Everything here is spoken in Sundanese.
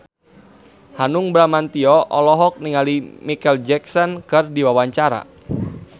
Hanung Bramantyo olohok ningali Micheal Jackson keur diwawancara